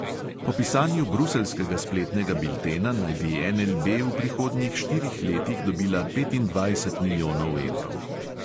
Po pisanju bruseljskega spletnega biltena naj bi NLB v prihodnjih štirih letih dobila petindvajset milijonov evrov.